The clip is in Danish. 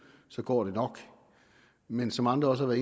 så går det nok men som andre også har